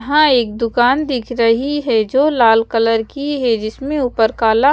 यहाँ एक दुकान दिख रही है जो लाल कलर की है जिसमे ऊपर काला--